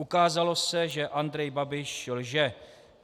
Ukázalo se, že Andrej Babiš lže.